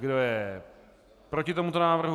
Kdo je proti tomuto návrhu?